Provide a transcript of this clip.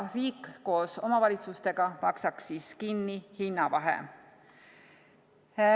Riik koos omavalitsustega maksaks kinni hinnavahe.